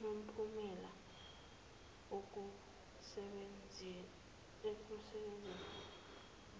namphumela ekusebenzeni